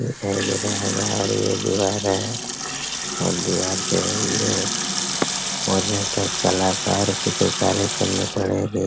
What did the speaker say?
दिखाई दे रहा होगा और ये दीवार है और दीवार पर ये मुझे तो कलाकार चित्रकारी करनी पड़ेगी।